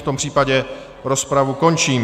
V tom případě rozpravu končím.